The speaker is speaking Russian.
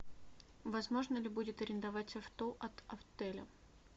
возможно ли будет арендовать авто от отеля